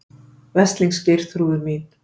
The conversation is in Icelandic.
Veslings Geirþrúður mín.